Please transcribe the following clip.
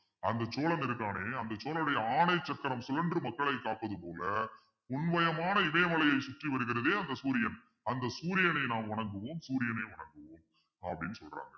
அந்த சோழன் இருக்கானே அந்த சோழனுடைய ஆணையச்சக்கரம் சுழன்று மக்களை காப்பது போல உண்மையமான இதயமலையில் சுற்றி வருகிறதே அந்த சூரியன் அந்த சூரியனை நாம் வணங்குவோம் சூரியனை வணங்குவோம் அப்பிடின்னு சொல்றாங்க